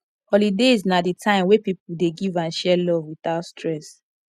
holidays na the time wey people dey give and share love without stress